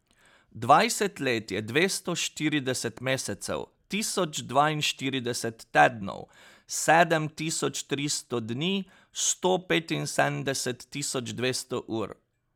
Dvajset let je dvesto štirideset mesecev, tisoč dvainštirideset tednov, sedem tisoč tristo dni, sto petinsedemdeset tisoč dvesto ur ...